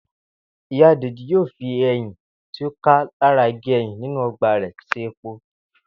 Ìyá Dèjì yóò fi e̩yìn tí ó ká lára igi e̩yìn inú o̩gbà rè̩ s̩e epo